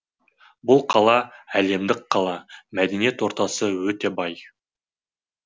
бұл қала әлемдік қала мәдени ортасы өте бай